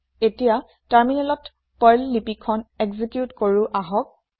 এতিয়া টাৰমিনেলত পাৰ্ল লিপি খন একজিকিউট কৰো আহক